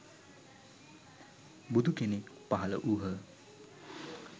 බුදු කෙනෙක් පහළ වූහ.